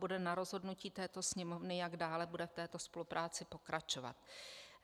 Bude na rozhodnutí této Sněmovny, jak dále bude v této spolupráci pokračovat.